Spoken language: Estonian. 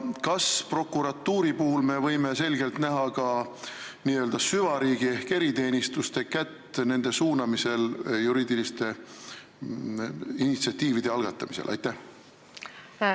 Kas me võime prokuratuuri puhul selgelt näha ka n-ö süvariigi ehk eriteenistuste kätt nende suunamisel juriidiliste initsiatiivide algatamise korral?